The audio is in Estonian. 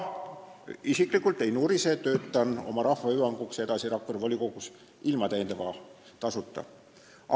Isiklikult ma ei nurise, töötan oma rahva hüvanguks edasi Rakvere volikogus ilma täiendava tasuta.